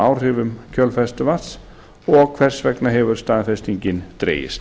áhrifum kjölfestuvatns og hvers vegna hefur staðfestingin dregist